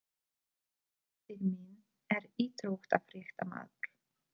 Bróðir minn er íþróttafréttamaður.